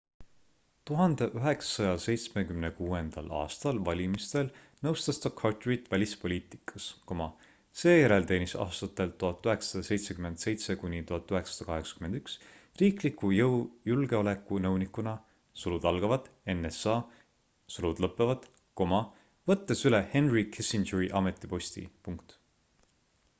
1976. aasta valimistel nõustas ta carterit välispoliitikas seejärel teenis aastatel 1977 kuni 1981 riikliku julgeoleku nõunikuna nsa võttes üle henry kissingeri ametiposti